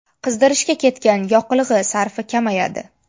Qizdirishga ketgan yoqilg‘i sarfi kamayadi”.